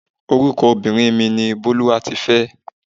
Orúkọ obìnrin mi ni Bólúwatifẹ́.